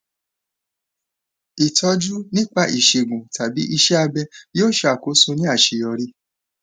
ìtọjú nípa ìṣẹgun tàbí iṣẹ abẹ yóò ṣàkóso ní àṣeyọrí